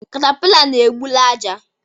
Katapila na egbuli aja